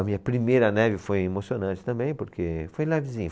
A minha primeira neve foi emocionante também, porque foi levezinha.